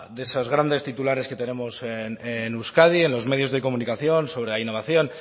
de esos grandes titulares que tenemos en euskadi en los medios de comunicación sobre la innovación